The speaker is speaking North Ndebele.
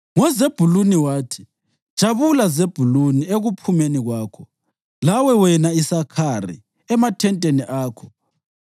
NgoZebhuluni wathi: “Jabula, Zebhuluni, ekuphumeni kwakho, lawe wena, Isakhari, emathenteni akho.